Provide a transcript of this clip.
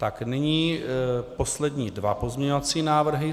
Tak nyní poslední dva pozměňovací návrhy.